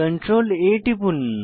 CTRL A টিপুন